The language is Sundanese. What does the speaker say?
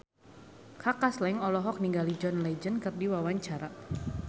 Kaka Slank olohok ningali John Legend keur diwawancara